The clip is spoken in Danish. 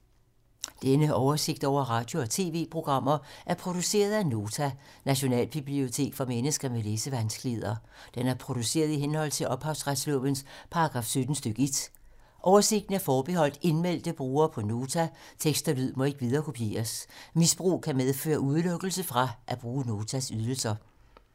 Denne oversigt over radio og TV-programmer er produceret af Nota, Nationalbibliotek for mennesker med læsevanskeligheder. Den er produceret i henhold til ophavsretslovens paragraf 17 stk. 1. Oversigten er forbeholdt indmeldte brugere på Nota. Tekst og lyd må ikke viderekopieres. Misbrug kan medføre udelukkelse fra at bruge Notas ydelser.